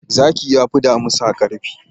Zaki yafi damisa karfi.